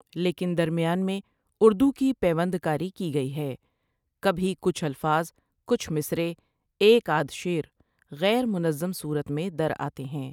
لیکن درمیان میں اردو کی پیوند کاری کی گئی ہے کبھی کچھ الفاظ، کچھ مصرعے، ایک آدھ شعرغیرمنظم صورت میں در آتے ہیں ۔